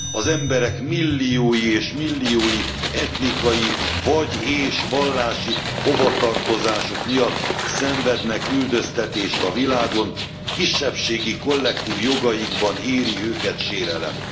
Az emberek milliói és milliói etnikai vagy és vallási hovatartozásuk miatt szenvednek üldöztetést a világon, kisebbségi kollektív jogaikban éri őket sérelem.